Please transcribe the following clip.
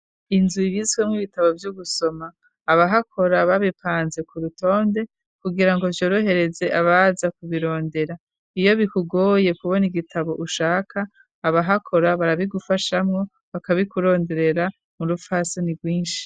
Inzu ibizwe mw ibitabo vy'ugusoma abahakora babipanze ku rutonde kugira ngo vyorohereze abaza kubirondera iyo bikugoye kubona igitabo ushaka abahakora barabigufashamwo bakabikuronderera mu rufasoni bwinshi.